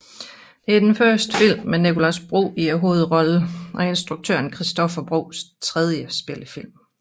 Det er den første film med Nicolas Bro i hovedrollen og instruktøren Christoffer Boes tredje spillefilm